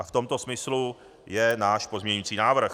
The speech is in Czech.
A v tomto smyslu je náš pozměňující návrh.